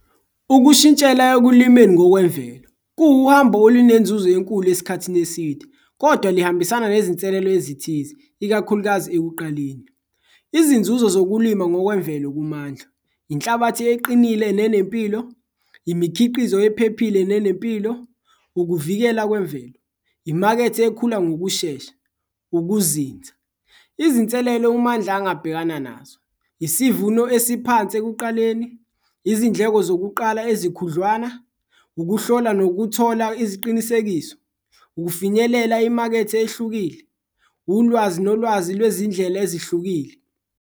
Ukushintshela ekulimeni ngokwemvelo kuwuhambo olunenzuzo enkulu esikhathini eside kodwa lihambisana nezinselelo ezithize, ikakhulukazi ekuqaleni izinzuzo zokulima ngokwemvelo kuMandla, inhlabathi eqinile nenempilo, imikhiqizo ephephile nenempilo, ukuvikela kwemvelo, imakethe ekhula ngokushesha, ukuzinza. Izinselelo uMandla angabhekana nazo, isivuno esiphansi ekuqaleni, izindleko zokuqala ezikhudlwana, ukuhlola nokuthola iziqinisekiso, ukufinyelela imakethe ehlukile, ulwazi nolwazi lwezindlela ezihlukile.